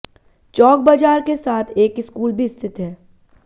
चौक बाजार के साथ एक स्कूल भी स्थित है